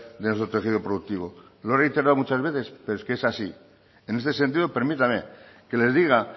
de nuestro tejido productivo lo he reiterado muchas veces pero es que es así en este sentido permítame que les diga